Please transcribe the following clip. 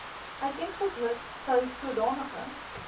uiteengesit sou sodanige